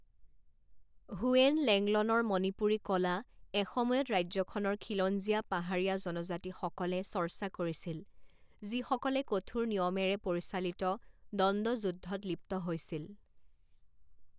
When লেংলনৰ মণিপুৰী কলা এসময়ত ৰাজ্যখনৰ খিলঞ্জীয়া পাহাৰীয়া জনজাতিসকলে চৰ্চা কৰিছিল যিসকলে কঠোৰ নিয়মেৰে পৰিচালিত দ্বন্দ্বযুদ্ধত লিপ্ত হৈছিল।